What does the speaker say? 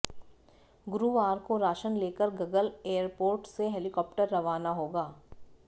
गुरुवार को राशन लेकर गगल एयरपोर्ट से हेलिकाप्टर रवाना होगा